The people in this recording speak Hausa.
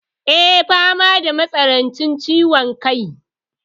Eh, fama da matsanancin ciwon kai.